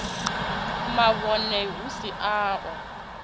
mavhone hu si a u